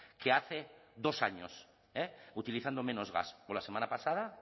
que hace dos años utilizando menos gas o la semana pasada